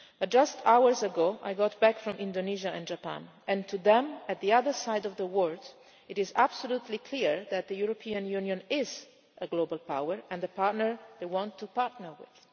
Just hours ago I got back from Indonesia and Japan, and to them on the other side of the world it is absolutely clear that the European Union is a global power and the partner they want to partner with.